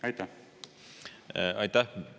Aitäh!